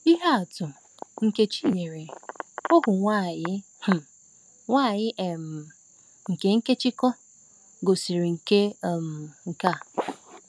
Ihe atụ nke Chinyere, ohu nwanyị um nwanyị um nke Nkèchíchòr, gosiri nke um a.